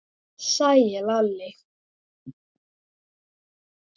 sagði Lalli.